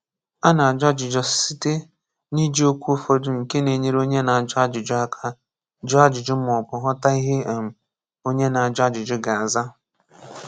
A na-ajụ ajụjụ site n’iji okwu ụfọdụ nke na-enyere onye na-ajụ ajụjụ aka jụọ ajụjụ maọbụ ghọta ihe um onye a na-ajụ ajụjụ ga-aza.